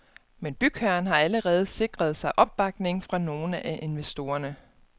Men bygherren har allerede sikret sig opbakning fra nogle af investorerne.